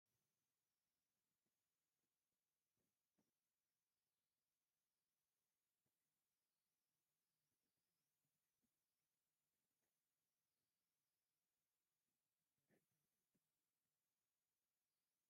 ተጋዳሊት ድምፃዊት ኤልሳ ወለገብሪኤል ትባሃል ። ኣብ ወራር ትግራይ ድማ እጃማ ኣብርኪታ እያ ። ብዙሓት ናይ ገድሊ ደርፍታት ድማ ደሪፋ እያ ። ካብቶ ዝደረፈቶም ድርፍታት እንታይን እንታይ ይብሉ?